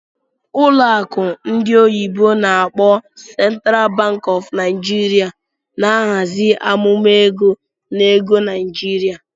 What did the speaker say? Ụlọ akụ ndị oyibo n'akpọ "Central Bank of Nigeria na-ahazi amụma ego na ego Naijiria.